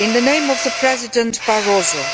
On behalf of President Barroso,